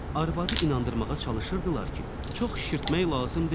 Arvadı inandırmağa çalışırdılar ki, çox şişirtmək lazım deyil.